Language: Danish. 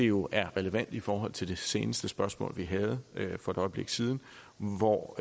jo er relevant i forhold til det seneste spørgsmål vi havde for et øjeblik siden hvor